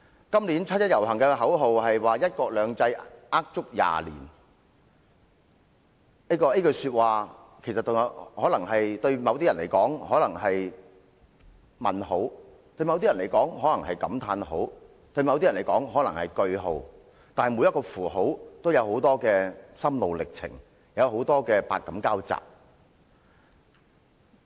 今年七一遊行的口號是"一國兩制呃足廿年"，這句話對某些人而言可能是問號，對某些人而言可能是感嘆號，對某些人而言可能是句號，但每個符號均牽涉很多心路歷程，百感交集。